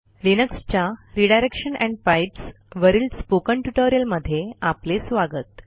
लिनक्सच्या redirection and pipes वरील spoken ट्युटोरियलमध्ये आपले स्वागत